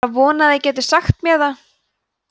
var að vona þið gætuð vitað það og sagt mér það